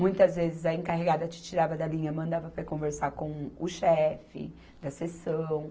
Muitas vezes a encarregada te tirava da linha, mandava para conversar com o chefe da seção.